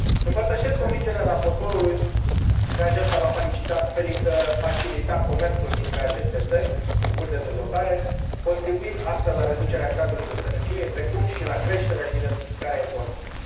Împărtășesc convingerea raportorului că aceasta va facilita comerțul dintre aceste țări în curs de dezvoltare, contribuind, astfel, la reducerea gradului de sărăcie, precum și la creșterea și diversificarea economică.